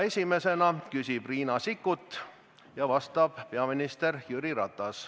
Esimesena küsib Riina Sikkut ja vastab peaminister Jüri Ratas.